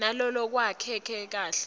nalolwakheke kahle